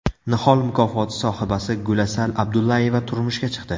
Nihol mukofoti sohibasi Gulasal Abdullayeva turmushga chiqdi .